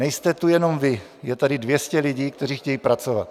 Nejste tu jenom vy, je tady 200 lidí, kteří chtějí pracovat.